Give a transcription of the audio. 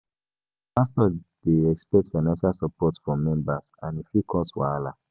Some pastors dey expect financial support from members, and e fit cause wahala.